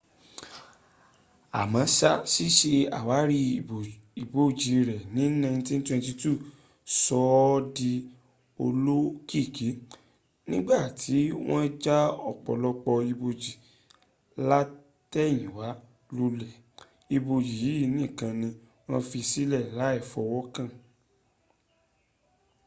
àmọ́ṣá síse àwárí ibojì rẹ̀ ní 1922 sọ ọ́ di olóòkìkí niigbàtí wọ́n ja ọ̀pọ̀lọpọ̀ ibojì látẹ̀yìnwá lólè ibojì yìí nìkan ní wọ́n fi sílẹ̀ láì fọwọ́kàn